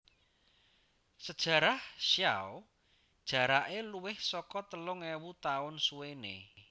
Sejarah Xiao jarake luwih saka telung ewu taun suwene